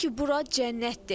Sanki bura cənnətdir.